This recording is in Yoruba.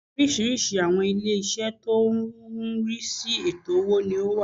Oriísirísi àwọn ilé isẹ́ tó n rí sí ètò owó ni ó wà